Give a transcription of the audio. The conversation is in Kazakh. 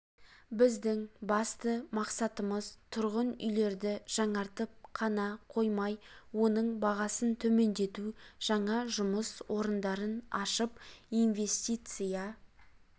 біздің басты мақсатымыз тұрғын үйлерді жаңартып қана қоймай оның бағасын төмендету жаңа жұмыс орындарын ашып инвестиция